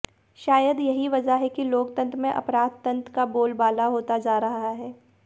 शायद यही वजह है की लोकतन्त्र में अपराधतन्त्र का बोलबाला होता जा रहा है